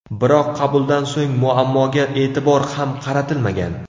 Biroq qabuldan so‘ng muammoga e’tibor ham qaratilmagan.